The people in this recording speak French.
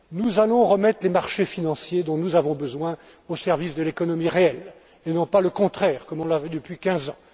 Nous allons remettre les marchés financiers dont nous avons besoin au service de l'économie réelle, et non pas le contraire, comme on l'a vu depuis quinze